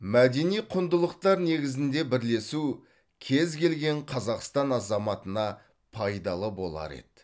мәдени құндылықтар негізінде бірлесу кез келген қазақстан азаматына пайдалы болар еді